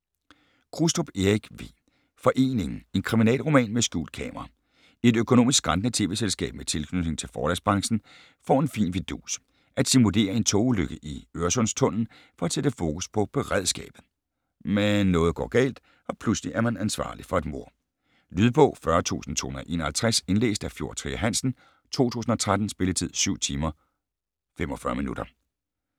Krustrup, Erik V.: Foreningen: en kriminalroman med skjult kamera Et økonomisk skrantende tv-selskab med tilknytning til forlagsbranchen får en fin fidus: at simulere en togulykke i Øresundstunnelen for at sætte fokus på beredskabet. Men noget går galt, og pludselig er man ansvarlig for et mord. Lydbog 40251 Indlæst af Fjord Trier Hansen, 2013. Spilletid: 7 timer, 45 minutter.